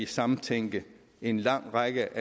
samtænke en lang række